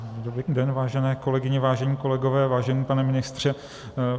Dobrý den, vážené kolegyně, vážení kolegové, vážený pane ministře.